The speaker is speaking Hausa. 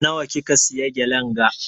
Na wa kika siya gelen ga?